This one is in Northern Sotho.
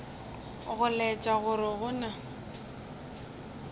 go laetša gore go na